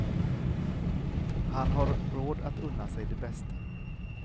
Han har råd att unna sig det bästa.